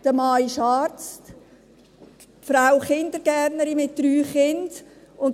Der Mann ist Arzt, die Frau Kindergärtnerin, mit drei Kindern.